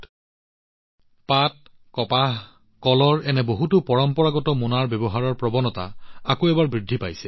মৰাপাট কপাহ কলৰ এনে বহুতো পৰম্পৰাগত মোনাৰ প্ৰৱণতা এতিয়া আকৌ এবাৰ বৃদ্ধি পাইছে